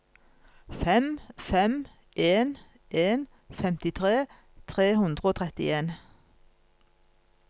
fem fem en en femtitre tre hundre og trettien